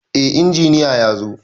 Eh, injiniya yazo